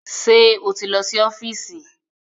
Ṣé o ti lọ sí ọ́fíìsì?